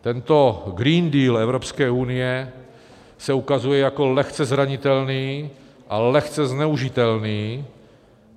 Tento Green Deal Evropské unie se ukazuje jako lehce zranitelný a lehce zneužitelný.